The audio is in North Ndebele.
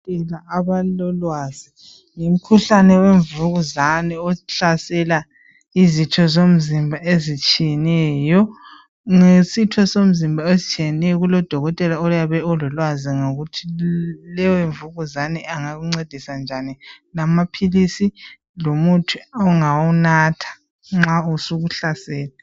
Abalolwazi ngomkhuhlane wemvukuzane ohlasela izitho zomzimba ezitshiyeneyo. Ngesitho somzimba ezitshiyeneyo kulodokotela oyabe elolwazi lokuthi leyo mvukuzane angakuncedisa njani lamaphilizi lomuthi ongawunatha nxa usukuhlasele.